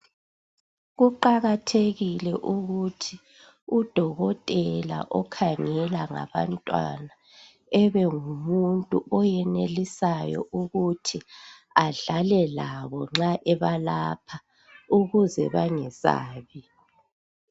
Kuqakathekile ukuthi udokotela okhangela ngabantwana ebengimuntu oyenelisayo ukuthi badlale labo nxa ebalapha ukuze bangesabi.